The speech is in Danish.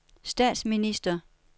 statsminister